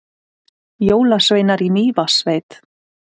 Jólasveinar í Mývatnssveit